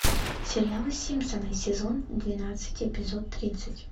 сериал симпсоны сезон двенадцать эпизод тридцать